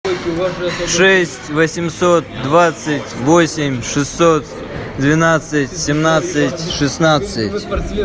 шесть восемьсот двадцать восемь шестьсот двенадцать семнадцать шестнадцать